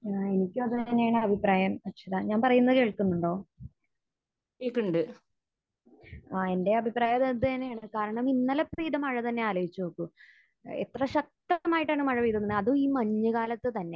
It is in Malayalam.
ആഹ്. എനിക്കും അത് തന്നെയാണ് അഭിപ്രായം, അർച്ചന. ഞാൻ പറയുന്നത് കേൾക്കുന്നുണ്ടോ? ആഹ്. എന്റെയും അഭിപ്രായം അതുപോലെ തന്നെയാണ്. കാരണം ഇന്നലെ പെയ്ത മഴ തന്നെ ആലോചിച്ച് നോക്കൂ. എത്ര ശക്തമായിട്ടാണ് മഴ പെയ്ത് കൊണ്ടിരുന്നത്. അതും ഈ മഞ്ഞ് കാലത്ത് തന്നെ.